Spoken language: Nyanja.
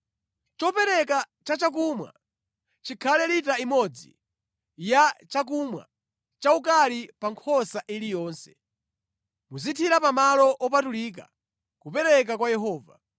Chopereka chachakumwa chikhale lita imodzi yachakumwa chaukali pa nkhosa iliyonse. Muzithira pamalo opatulika, kupereka kwa Yehova.